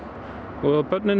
og börnin